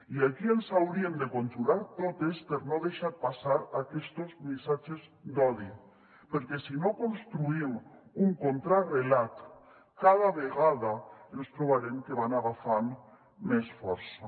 i aquí ens hauríem de conjurar totes per no deixar passar aquestos missatges d’odi perquè si no construïm un contrarelat cada vegada ens trobarem que van agafant més força